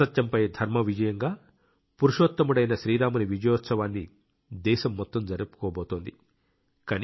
అసత్యంపై ధర్మ విజయంగా పురుషోత్తముడైన శ్రీరాముని విజయోత్సవాన్ని దేశం మొత్తం జరుపుకోబోతోంది